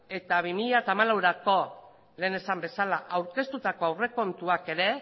eta bi mila hamalauerako lehen esan bezala aurkeztutako aurrekontuak ere